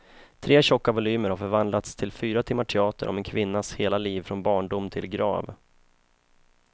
Tre tjocka volymer har förvandlats till fyra timmar teater om en kvinnas hela liv från barndom till grav.